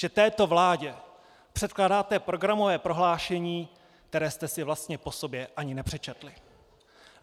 Že této vládě předkládáte programové prohlášení, které jste si vlastně po sobě ani nepřečetli.